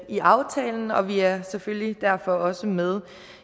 i aftalen og vi er selvfølgelig derfor også med